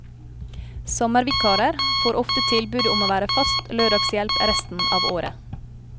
Sommervikarer får ofte tilbud om å være fast lørdagshjelp resten av året.